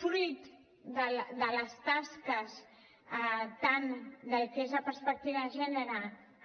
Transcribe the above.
fruit de les tasques tant del que és la perspectiva de gènere